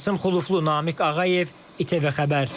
Qasım Xuluflu, Namiq Ağayev, ATV xəbər.